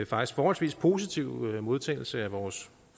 faktisk forholdsvis positive modtagelse af vores